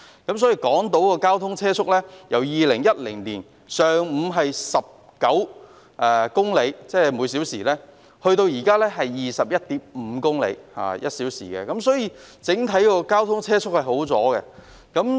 港島的上午交通車速由2010年的每小時19公里增至現時的每小時 21.5 公里，由此可見，整體車速已有所改善。